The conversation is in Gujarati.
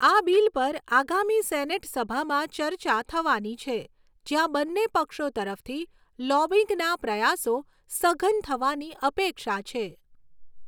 આ બિલ પર આગામી સેનેટ સભામાં ચર્ચા થવાની છે, જ્યાં બંને પક્ષો તરફથી લોબિંગના પ્રયાસો સઘન થવાની અપેક્ષા છે.